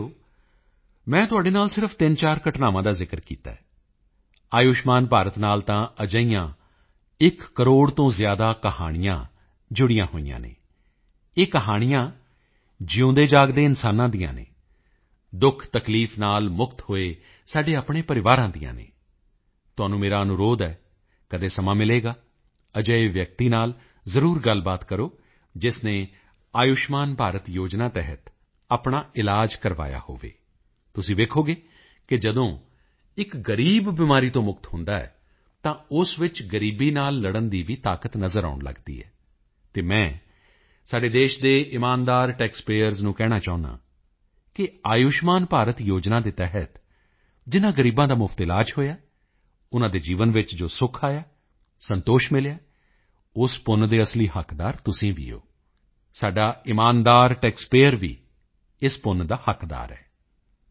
ਸਾਥੀਓ ਮੈਂ ਤੁਹਾਡੇ ਨਾਲ ਸਿਰਫ਼ 34 ਘਟਨਾਵਾਂ ਦਾ ਜ਼ਿਕਰ ਕੀਤਾ ਆਯੁਸ਼ਮਾਨ ਭਾਰਤ ਨਾਲ ਤਾਂ ਅਜਿਹੀਆਂ ਇੱਕ ਕਰੋੜ ਤੋਂ ਜ਼ਿਆਦਾ ਕਹਾਣੀਆਂ ਜੁੜੀਆਂ ਹੋਈਆਂ ਹਨ ਇਹ ਕਹਾਣੀਆਂ ਜਿਊਂਦੇਜਾਗਦੇ ਇਨਸਾਨਾਂ ਦੀਆਂ ਹਨ ਦੁਖਤਕਲੀਫ ਨਾਲ ਮੁਕਤ ਹੋਏ ਸਾਡੇ ਆਪਣੇ ਪਰਿਵਾਰਜਨਾਂ ਦੀਆਂ ਹਨ ਤੁਹਾਨੂੰ ਮੇਰਾ ਅਨੁਰੋਧ ਹੈ ਕਦੀ ਸਮਾਂ ਮਿਲੇ ਤਾਂ ਅਜਿਹੇ ਵਿਅਕਤੀ ਨਾਲ ਜ਼ਰੂਰ ਗੱਲਬਾਤ ਕਰੋ ਜਿਸ ਨੇ ਆਯੁਸ਼ਮਾਨ ਭਾਰਤ ਯੋਜਨਾ ਤਹਿਤ ਆਪਣਾ ਇਲਾਜ ਕਰਵਾਇਆ ਹੋਵੇ ਤੁਸੀਂ ਦੇਖੋਗੇ ਕਿ ਜਦੋਂ ਇੱਕ ਗ਼ਰੀਬ ਬਿਮਾਰੀ ਤੋਂ ਮੁਕਤ ਹੁੰਦਾ ਹੈ ਤਾਂ ਉਸ ਵਿੱਚ ਗ਼ਰੀਬੀ ਨਾਲ ਲੜਨ ਦੀ ਵੀ ਤਾਕਤ ਨਜ਼ਰ ਆਉਣ ਲੱਗਦੀ ਹੈ ਅਤੇ ਮੈਂ ਸਾਡੇ ਦੇਸ਼ ਦੇ ਇਮਾਨਦਾਰ ਟੈਕਸ ਪੇਅਰਜ਼ ਨੂੰ ਕਹਿਣਾ ਚਾਹੁੰਦਾ ਹਾਂ ਕਿ ਆਯੁਸ਼ਮਾਨ ਭਾਰਤ ਯੋਜਨਾ ਦੇ ਤਹਿਤ ਜਿਨ੍ਹਾਂ ਗ਼ਰੀਬਾਂ ਦਾ ਮੁਫ਼ਤ ਇਲਾਜ ਹੋਇਆ ਹੈ ਉਨ੍ਹਾਂ ਦੇ ਜੀਵਨ ਵਿੱਚ ਜੋ ਸੁਖ ਆਇਆ ਹੈ ਸੰਤੋਸ਼ ਮਿਲਿਆ ਹੈ ਉਸ ਪੁੰਨ ਦੇ ਅਸਲੀ ਹੱਕਦਾਰ ਤੁਸੀਂ ਵੀ ਹੋ ਸਾਡਾ ਇਮਾਨਦਾਰ ਟੈਕਸ ਪੇਅਰਜ਼ ਵੀ ਇਸ ਪੁੰਨ ਦਾ ਹੱਕਦਾਰ ਹੈ